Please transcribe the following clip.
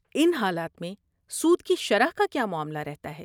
ان حالات میں سود کی شرح کا کیا معاملہ رہتا ہے؟